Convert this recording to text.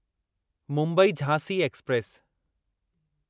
Mumbai Jhansi express